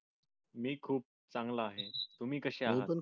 मी खूप चांगला आहे तुम्ही कशे आहात